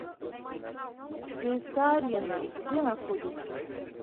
цска арена где находится